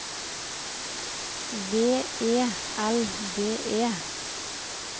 V E L D E